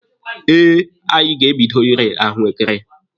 Eh, anyị ga-ebido ire ahụekere.